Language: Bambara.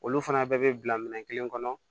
Olu fana bɛɛ bɛ bila minɛn kelen kɔnɔ